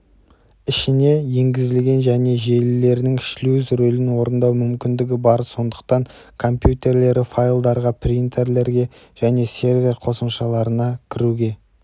ішіне енгізілген мен желілерінің шлюз рөлін орындау мүмкіндігі бар сондықтан компьютерлері файлдарға принтерлерге және сервер қосымшаларына кіруге